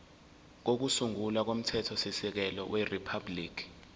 kokusungula komthethosisekelo weriphabhuliki